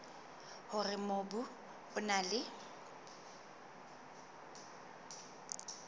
hore mobu o na le